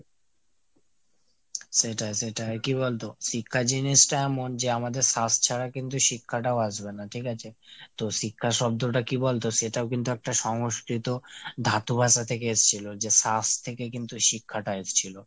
সেটাই সেটাই। কী বলতো শিক্ষা জিনিসটা এমন যে আমাদের শ্বাস ছাড়া কিন্তু শিক্ষাটাও আসবেনা ঠিক আছে ? তো শিক্ষা শব্দটা কী বলতো সেটাও কিন্তু একটা সংস্কৃত ধাতু ভাষা থেকে এসছিল। যে শ্বাস থেকে কিন্তু শিক্ষাটা এসছিল।